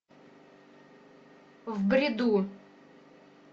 в бреду